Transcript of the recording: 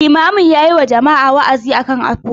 Limamin yayi wa jama'a wa'azi akan afuwa.